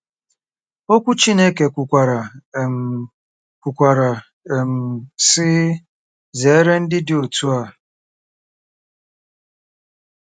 Okwu Chineke kwukwara, um kwukwara, um sị, “Zere ndị dị otú a .”